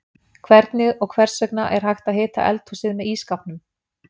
Hvernig og hvers vegna er hægt að hita eldhúsið með ísskápnum?